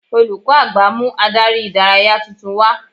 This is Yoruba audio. Olùkọ́ àgbà mú Ádárì ìdárayá tuntun wá